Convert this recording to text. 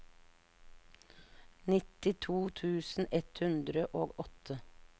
nittito tusen ett hundre og åtte